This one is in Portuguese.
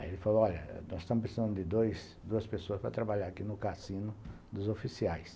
Aí ele falou, olha, nós estamos precisando de dois, de duas pessoas para trabalhar aqui no cassino dos oficiais.